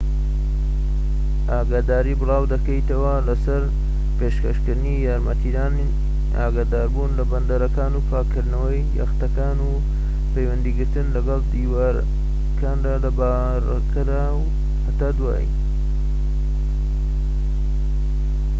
ئاگاداری بڵاو دەکەیتەوە لەسەر پێشکەشکردنی یارمەتیدان ئاگاداربوون لە بەندەرەکان و پاکردنەوەی یەختەکان و پەیوەندیگرتن لەگەڵ دەریاوانەکاندا لە باڕەکەدا و هتد